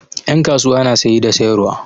Ƴan kasuwa na saye da sayarwa.